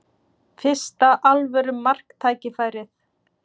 Fyrsta alvöru marktækifærið